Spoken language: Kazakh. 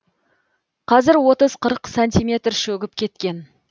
қазір отыз қырық сантиметр шөгіп кеткен